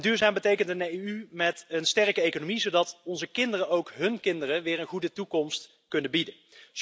Duurzaam betekent ten slotte een EU met een sterke economie, zodat onze kinderen ook hun kinderen weer een goede toekomst kunnen bieden.